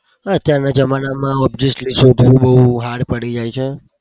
હા. અત્યારના જમાનામાં obviously sir ભૂલ બઉ hard પડી જાય છે.